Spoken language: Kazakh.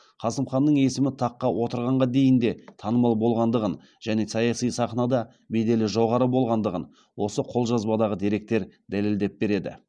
қасым ханның есімі таққа отырғанға дейін де танымал болғандығын және саяси сахнада беделі жоғары болғандығын осы қолжазбадағы деректер дәлелдеп береді